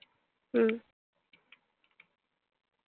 হম